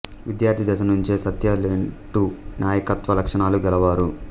విద్యార్ధి దశ నుంచే సత్య తెంటు నాయకత్వ లక్షణాలు గలవారు